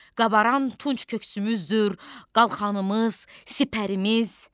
Qabaran tunc köksümüzdür, qalxanımız, sipərimiz.